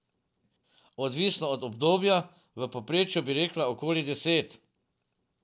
Odvisno od obdobja, v povprečju bi rekla okoli deset.